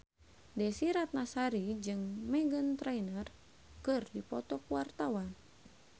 Desy Ratnasari jeung Meghan Trainor keur dipoto ku wartawan